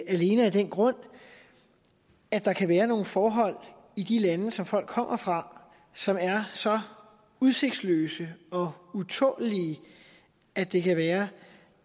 alene af den grund at der kan være nogle forhold i de lande som folk kommer fra som er så udsigtsløse og utålelige at det kan være